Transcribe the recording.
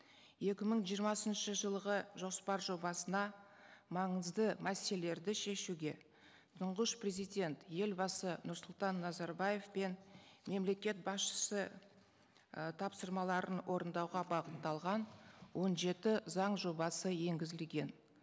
екі мың жиырмасыншы жылғы жоспар жобасына маңызды мәселелерді шешуге тұңғыш президент елбасы нұрсұлтан назарбаев пен мемлекет басшысы і тапсырмаларын орындауға бағытталған он жеті заң жобасы енгізілген